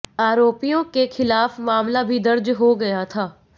आरोपियों के खिलाफ मामला भी दर्ज हो गया था